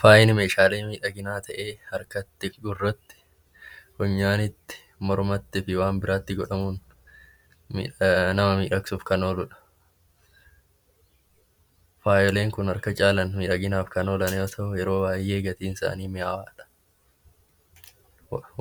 Faayi meeshaalee miidhaginaa ta'ee harkatti, gurratti , funyaanitti, mormatti fi waan biraatti godhamuun nama miidhagsuuf kan ooludha. Faayoleen Kun harka caalaa miidhaginaaf kan oolan yommuu ta'u, yeroo baay'ee gatiin isaanii qaaliidha.